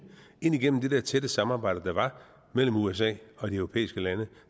ind igennem det der er tætte samarbejde der var mellem usa og de europæiske lande